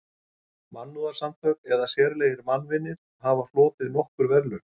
Mannúðarsamtök eða sérlegir mannvinir hafa hlotið nokkur verðlaun.